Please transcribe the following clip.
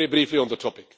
Very briefly on the topic